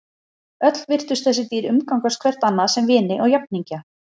Öll virtust þessi dýr umgangast hvert annað sem vini og jafningja.